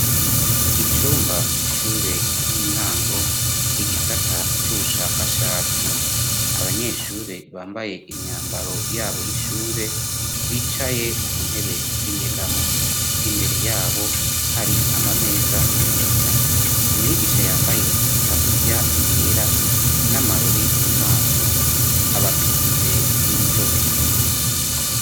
Icumba c'ishure ry'intango igisata cy'ubushakashatsi abanyeshure bambaye imyambaro yabo y'ishure bicaye ku ntebe z'inyegamo imbere yabo hari ama meza meza umwigisha yambaye itaburiya yera n'amarori mu maso abatunze urutoke.